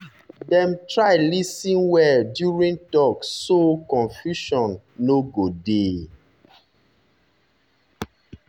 dem try lis ten well during talk so confusion so confusion no go dey.